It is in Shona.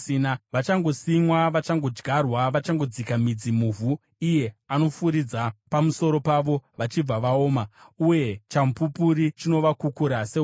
Vachangosimwa, vachangodyarwa, vachangodzika midzi muvhu, iye anofuridza pamusoro pavo vachibva vaoma, uye chamupupuri chinovakukura sehundi.